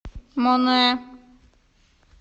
монэ